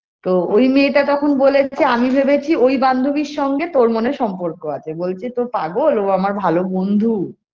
তো ওই মেয়েটা তখন বলেছে আমি ভেবেছি ওই বান্ধবীর সঙ্গে তোর মনে হয় সম্পর্ক আছে বলছে তো পাগল ও আমার ভালো বন্ধু